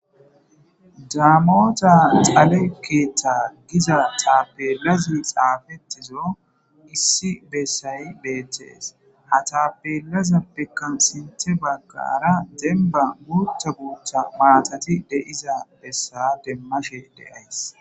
daamota xale keeththa giza taapelazi xaafetizo issi bessay beeththes. Ha taapelazappekkan sinthe baggaara demba guutha guutha maatati de'iza bessa demmashe de'ays.